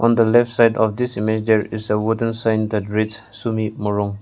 the left side of this major is a wooden rich sumi morung.